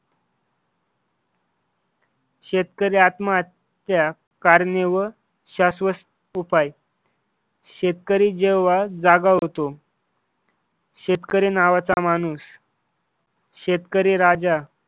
शेतकरी आत्महत्या कारणे व शाश्वत उपाय शेतकरी जेव्हा जागा होतो. शेतकरी नावाचा माणूस शेतकरी राजा